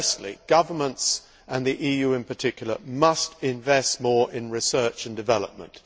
Firstly, governments and the EU in particular must invest more in research and development